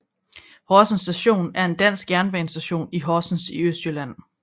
Horsens Station er en dansk jernbanestation i Horsens i Østjylland